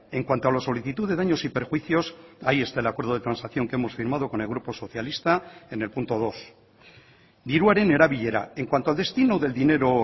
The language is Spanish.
en cuanto a la solicitud de daños y perjuicios ahí está el acuerdo de transacción que hemos firmado con el grupo socialista en el punto dos diruaren erabilera en cuanto al destino del dinero